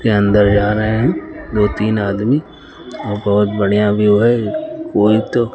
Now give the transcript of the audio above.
के अंदर जा रहे हैं दो तीन आदमी और बोहुत बढ़िया व्यू है --